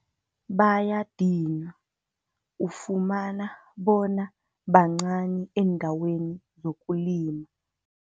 Bayadinwa, ufumana bona bancani eendaweni zokulima.